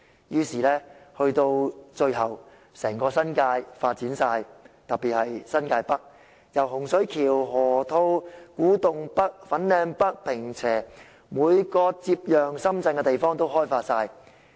於是到了最後，整個新界都發展了，特別是新界北，洪水橋、河套地區、古洞北、粉嶺北、坪輋，每個接壤深圳的地方都被開發。